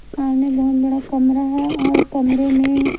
सामने बोहोत बड़ा कमरा है और कमरे में--